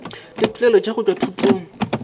dipoelo tša go tšwa thutong